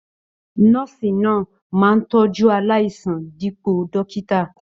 Nọ́ọ́sì máa ń tọjú aláìsàn dipo dókítà.